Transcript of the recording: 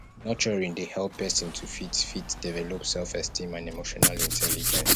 nurturing dey help person to fit to fit develop selfesteem and emotional intelligence